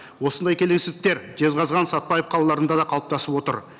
осындай келеңсіздіктер жезқазған сәтбаев қалаларында да қалыптасып отыр